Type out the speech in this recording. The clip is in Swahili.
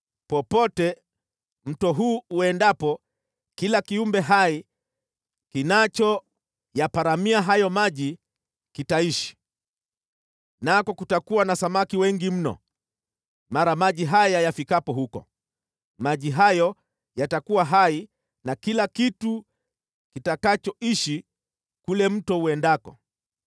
Popote mto huu uendapo kila kiumbe hai kinachoyaparamia hayo maji kitaishi, nako kutakuwa na samaki wengi mno, mara maji haya yafikapo huko. Maji hayo yatakuwa hai na kila kitu kitakachoishi kule mto uendako.